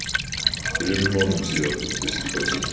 Þremur mánuðum síðar kom fyrsti kossinn.